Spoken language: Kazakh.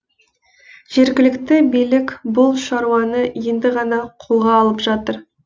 жергілікті билік бұл шаруаны енді ғана қолға алып жатыр